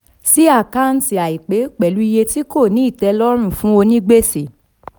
sí àkántì àìpé pẹ̀lú iye tí kò ní ìtẹlọ́rùn fún onígbèsè.